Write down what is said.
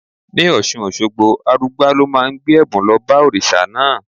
Ní Ọ̀ṣun Òṣogbo, Arugbá ló máa ń gbé ẹ̀bùn lọ bá òrìṣà náà.